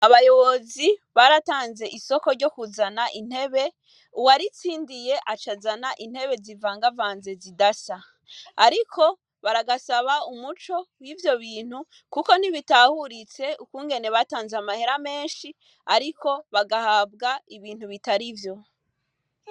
Abayobozi, baratanze isoko ryo kuzana intebe, uwaritsindiye aca azana intebe zivangavanze zidasa. Ariko, baragasaba umuco w'ivyo bintu, kuko ntibitahuritse, ukungene batanze amahera menshi, ariko bagahabwa ibintu bitarivyo.